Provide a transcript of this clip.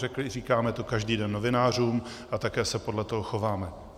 Říkáme to každý den novinářům a také se podle toho chováme.